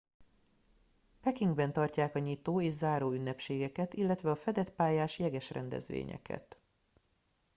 pekingben tartják a nyitó és záró ünnepségeket illetve a fedett pályás jeges rendezvényeket